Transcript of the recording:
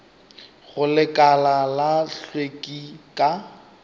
go lekala la hlweki ka